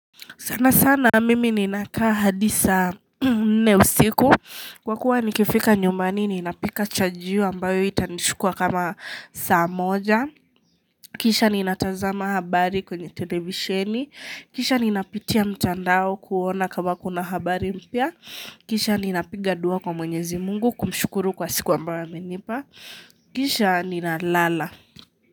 Sana sana mimi ninakaa hadi saa nne usiku Kwa kuwa nikifika nyumbani ninapika chajio ambayo itanichukua kama saa moja Kisha ninatazama habari kwenye televisheni Kisha ninapitia mtandao kuona kama kuna habari mpya Kisha ninapiga dua kwa mwenyezi mungu kumshukuru kwa siku ambayo amenipa Kisha ninalala.